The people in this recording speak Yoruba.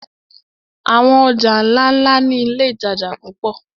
Àwọn ọjà ńláńlá ni iléìtajà púpọ̀.